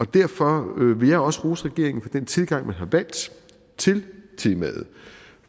derfor vil jeg også rose regeringen for den tilgang man har valgt til temaet